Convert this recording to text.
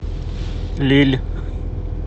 лилль